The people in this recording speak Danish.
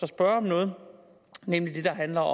spørge om noget nemlig det der handler